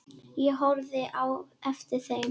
Ég horfði á eftir þeim.